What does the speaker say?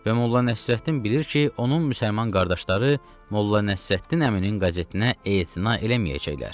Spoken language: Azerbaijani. Və Molla Nəsrəddin bilir ki, onun müsəlman qardaşları Molla Nəsrəddin əminin qəzetinə etina eləməyəcəklər.